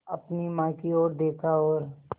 अपनी माँ की ओर देखा और